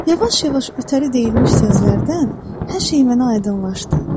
Yavaş-yavaş ötəri deyilmiş sözlərdən hər şey mənə aydınlaşdı.